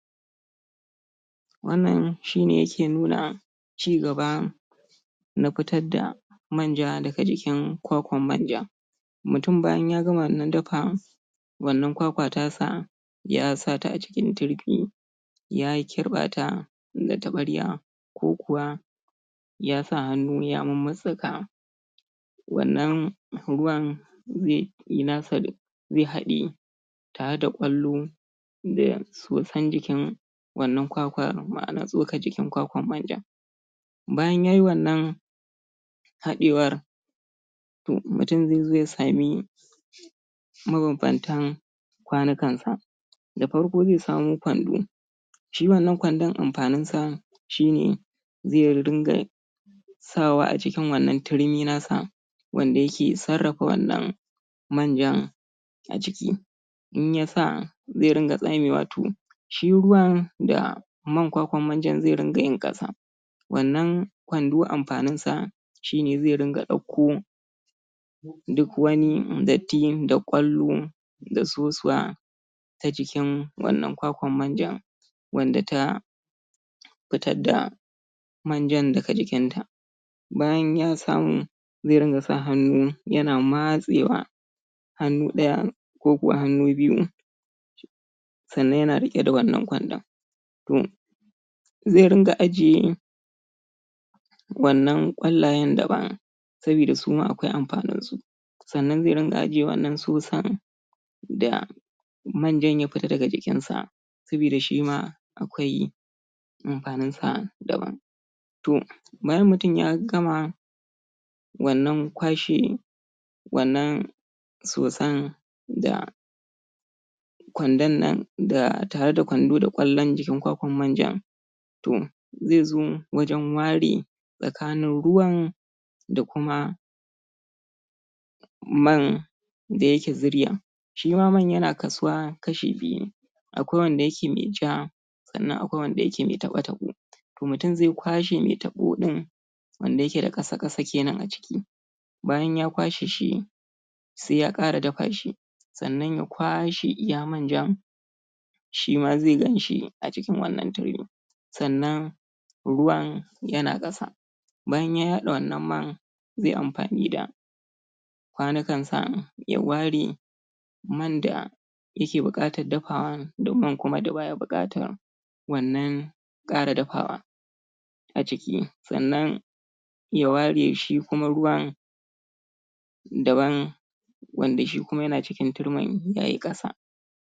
Wannan shi ne yake nuna cigaba na fitar da manja daga jikin kwakwar manja mutum bayan ya gama wannan duka wannan kwakwa tasa ya sa ta a cikin turmi ya kirɓa ta da taɓarya ko kuwa ya sa hannu ya mutsittsika wannan ruwan?? zai haɗiye tare da ƙwalluwar da soson jikin wannan kakar, ma'ana tsokar jikin kwakwar manjan hadewar mutum zai zo ya samu mabambantan kwanukansa da farko zai samo kwando shi wannan kwandon amfanin sa shi ne zai din ga sawa a cikin wannan tirmi nasa wanda yake sarrafa wannan manjan a ciki in ya sa zai dinga tsamewa to shi ruwan da man kwakwar manja zai ringa yin ƙasan wannan shi ne zai rinƙa dauko duk wani datti da ƙwallo da sosuwa ta jikin wannan kwakwar manja wanda ta fitar da manjan daga jikin ta bayan ya samu zai rinƙa sa hannu yana matsewa hannu ɗaya ko kuwa hannu biyu sannan yana riƙe da wannnan kwandon umm zai rinƙa ajiye wannan ƙwallayen daban saboda su ma akwai amfanin su sannan zai rinƙa ajiye wannan soson da manja ya fita daga jikinsa saboda shi ma akwai amfaninsa daban to bayan mutum ya gama kwashe wannan sosan da kwandon nan, da tare da kwando da kwallon jikin kwakwar manja to zai zo wajen ware tsakanin ruwan da kuma man da yake ziryan shi ma man yana kasu wa kashi biyu akwai wanda yake mai ja mutum zai kwashe mai taɓo din wanda yake da ƙasa-ƙasa kenan a ciki bayan ya kwashe shi sai ya ƙara dafa shi sannan ya kwashe iya manjan shi ma zai gan shi a jikin wannan turmi sannan bayan ya yade wannan man zai amfni da kwanikansa ya ware man da yake buƙatar dafawan da man kuma da baya buƙata wannann ƙara dafawa a ciki, sannan ya ware shi kuma ruwan daban wanda shi kuma yana cikin turmin yayi ƙasa